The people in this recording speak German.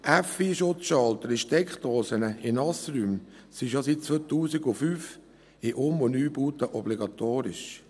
FI-Schalter in Steckdosen in Nassräumen sind schon seit 2005 für Um- und Neubauten obligatorisch.